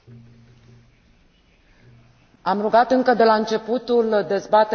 Am rugat încă de la începutul dezbaterii să se respecte timpul de vorbire.